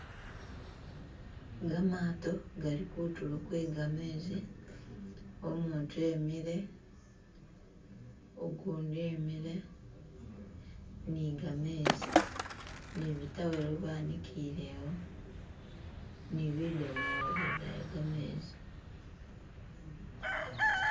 Gamato gali kuntulo kwe gamezi umuntu imikile, ugundi imile nigamezi ni bitawelo banikilewo ni bidomolo bidaya gamezi.